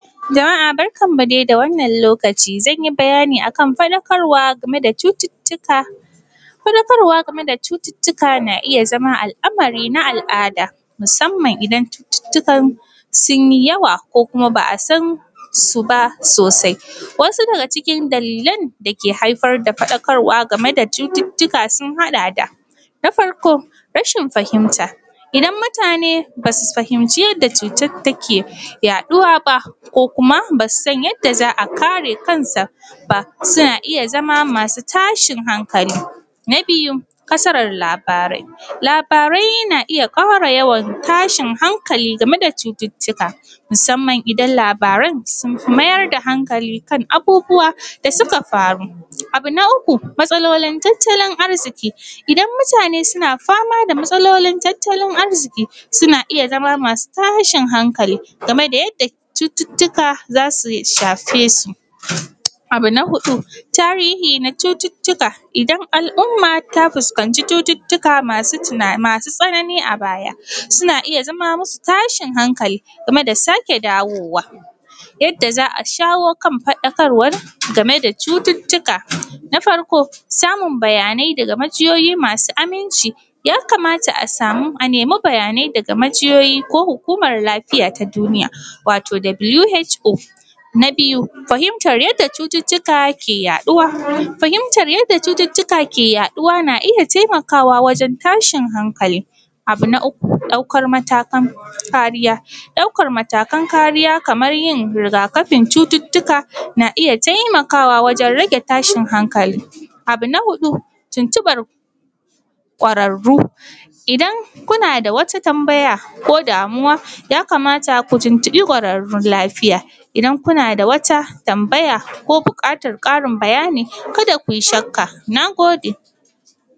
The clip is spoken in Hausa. Jama’a barkan mu dai da wannan lokaci, zanyi bayani akan faɗakarwa game da cututtuka. Faɗakarwa game da cututtuka na iya zama al’amari na al’ada, musamman idan cututtukan sunyi yawa ko kuma ba a san su ba sosai, wasu daga cikin dalilan da ke haifar da faɗakarwa game da cututtuka sun haɗa da, na farko, rashijn fahimta, idan mutane basu fahimci yadda cutar take yaɗuwa ba, basu san yadda za a kare kan sa ba, suna iya zama masu tashin hankali. Na biyu, kasarar labarai, labarai na iya ƙara yawan tashin hankali game da cututtuka, musamman idan labaran sun fi maida hankali kan abubuwa da suka faru, abu na uku, matsalolin tattalin arziƙi, idan mutane suna fama da matsalolin tattalin arziƙi suna iya zama masu tashin hankali gameda yadda cututtuka zasu shafe su. Abu na huɗu, tarihi na cututtuka, idan al’umma ta fuskanci cututtuaka masu tsanani a baya, suna iya zama musu tashin hankali game da sake dawowa. Yadda za a shawo kan faɗakarwar game da cututtuka, na farko, samun bayanai daga majiyoyi masu aminci, ya kamata a nemi bayanai daga majiyoyi ko hukumar lafiya ta duniya, wato WHO. Na biyu, fahimtar yadda cututtuka ke yaɗuwa, fahimtar yadda cututtuka ke yaɗuwa na iya taimakawa wajen tashin hankali. Abu na uku, ɗaukan matakan kariya, ɗaukan matakan kariya kamar yin rigakafin cututtuka na iya taimakawa wajen rage tashin hankali. Abu na huɗu, tuntuɓar ƙwararru, idan kuna da wata tambaya ko damuwa, ya kamata ku tuntuɓi ƙwararrun lafiya, idan kuna da wata tambaya ko buƙatar ƙarin bayani kada kuyi shakka, na gode.